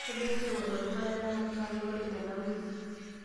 kebaa enkirowuaj te olduka le mangalore tena wiki